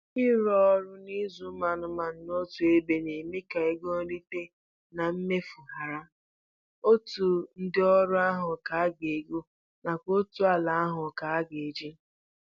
Ịrụ ọrụ na ịzụ anụmanụ n'otu ebe na-eme ego nrite na nke emefuru hara, otu ndị ọrụ ahụ ka a ga-ego, nakwa otu ala ahụ ka a ga-eji